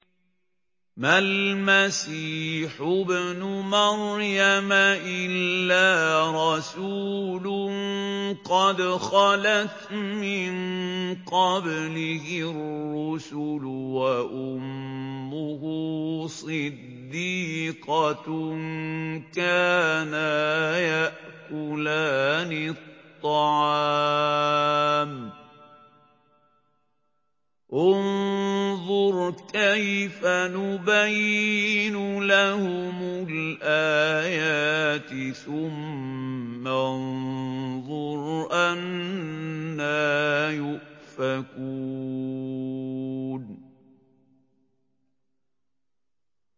مَّا الْمَسِيحُ ابْنُ مَرْيَمَ إِلَّا رَسُولٌ قَدْ خَلَتْ مِن قَبْلِهِ الرُّسُلُ وَأُمُّهُ صِدِّيقَةٌ ۖ كَانَا يَأْكُلَانِ الطَّعَامَ ۗ انظُرْ كَيْفَ نُبَيِّنُ لَهُمُ الْآيَاتِ ثُمَّ انظُرْ أَنَّىٰ يُؤْفَكُونَ